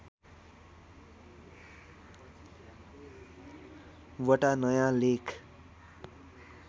वटा नयाँ लेख